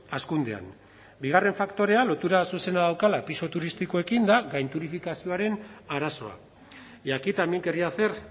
hazkundean bigarren faktorea lotura zuzena daukala pisu turistikoekin da gainturistifikazioaren arazoa y aquí también quería hacer